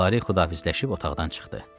Lara xudahafizləşib otaqdan çıxdı.